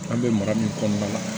An bɛ mara min kɔnɔna la